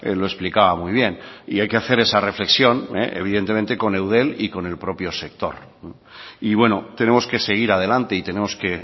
lo explicaba muy bien y hay que hacer esa reflexión evidentemente con eudel y con el propio sector y bueno tenemos que seguir adelante y tenemos que